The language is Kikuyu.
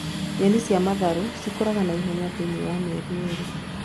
Nyeni cia matharũ cikuraga na ihenya , thĩiniĩ wa mĩeri irĩ